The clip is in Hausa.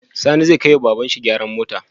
Sani zai kai wa baban shi gyaran mota?